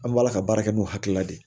An b'a ala ka baara kɛ n'o hakilina de ye